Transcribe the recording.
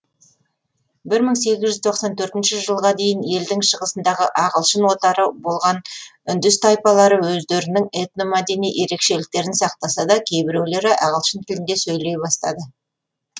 жылға дейін елдің шығысындағы ағылшын отары болған үндіс тайпалары өздерінің этномәдени ерекшеліктерін сақтаса да кейбіреулері ағылшын тілінде сөйлей бастады